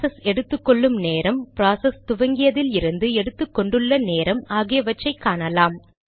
process எடுத்துகொள்ளும் நேரம் process துவங்கியதிலிருந்து எடுத்துக்கொண்டுள்ள நேரம் ஆகியவற்றை காணலாம்